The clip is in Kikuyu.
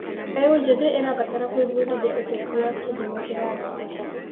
Mbeũ njĩthĩ ĩrabatara gwĩbundithia ũteti wa kĩndemokirathĩ.